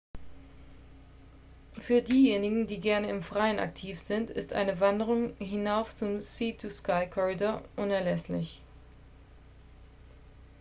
für diejenigen die gerne im freien aktiv sind ist eine wanderung hinauf zum sea-to-sky-corridor unerlässlich